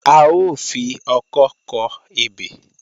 A ó fi ọkọ́ kọ ebè